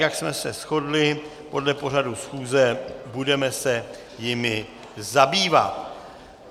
Jak jsme se shodli podle pořadu schůze, budeme se jimi zabývat.